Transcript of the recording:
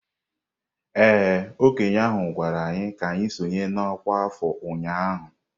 Ee, okenye ahụ gwara anyị ka anyị sonye n'ọkwa afọ ụnyahụ.